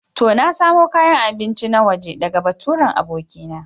To, na samo kayan abinci na waje ɗaga baturen abokina.